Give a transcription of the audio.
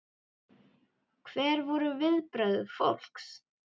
Hver voru viðbrögð fólks?